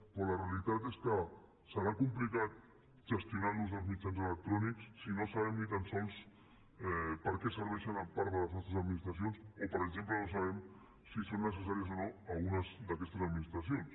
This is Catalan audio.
però la realitat és que serà complicat gestionar l’ús dels mitjans electrònics si no sabem ni tan sols per a què serveixen part de les nostres administracions o per exemple no sabem si són necessàries o no algunes d’aquestes administracions